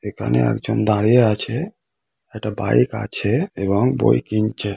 এখানে একজন দাঁড়িয়ে আছে একটা বাইক আছে এবং বই কিনছে।